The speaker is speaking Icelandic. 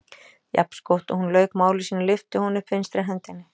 Jafnskjótt og hún lauk máli sínu lyfti hún upp vinstri hendinni.